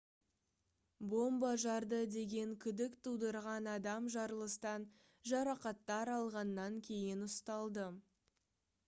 бомба жарды деген күдік тудырған адам жарылыстан жарақаттар алғаннан кейін ұсталды